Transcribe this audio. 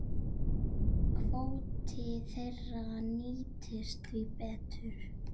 Kvóti þeirra nýtist því betur.